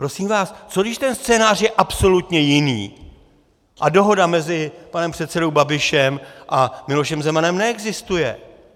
Prosím vás, co když ten scénář je absolutně jiný a dohoda mezi panem předsedou Babišem a Milošem Zemanem neexistuje?